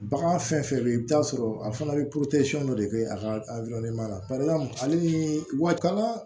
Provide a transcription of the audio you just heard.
Bagan fɛn fɛn bɛ yen i bɛ t'a sɔrɔ a fana bɛ dɔ de kɛ a ka la hali ni wakan